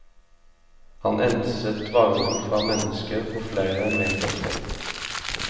Han enset varmen fra mennesker på flere meters hold.